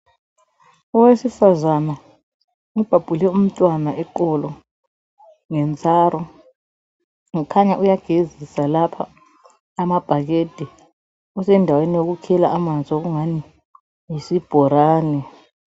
Owesifazana ubhabhule umntwana eqolo ngentsaro . Kukhanya uyagezisa lapha amabhakede . Usendaweni yokukhela amanzi okungani yisibhorani.